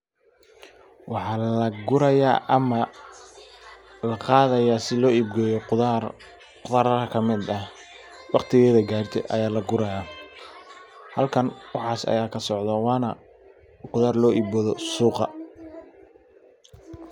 waxa laguraya ama laaruranaya sii loib geyo qudar suqa oo sida faido lagahelo marka meeshan waxa aya kosocda.